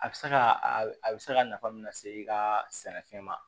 A bɛ se ka a bɛ se ka nafa mun lase i ka sɛnɛfɛn ma